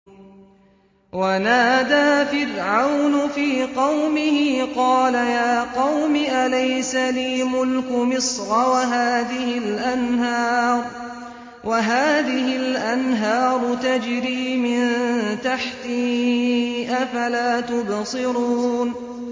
وَنَادَىٰ فِرْعَوْنُ فِي قَوْمِهِ قَالَ يَا قَوْمِ أَلَيْسَ لِي مُلْكُ مِصْرَ وَهَٰذِهِ الْأَنْهَارُ تَجْرِي مِن تَحْتِي ۖ أَفَلَا تُبْصِرُونَ